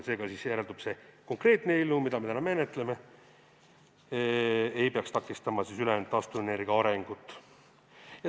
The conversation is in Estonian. Seega järeldub, et see konkreetne eelnõu, mida me täna menetleme, ei peaks takistama ülejäänud taastuvenergia arengut.